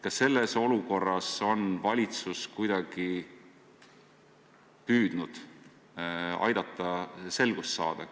Kas selles olukorras on valitsus kuidagi püüdnud aidata selgust saada?